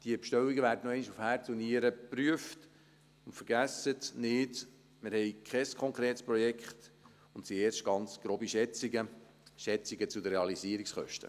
Diese Bestellungen werden noch einmal auf Herz und Nieren geprüft, und vergessen Sie nicht: Wir haben kein konkretes Projekt, und es sind erst ganz grobe Schätzungen zu den Realisierungskosten.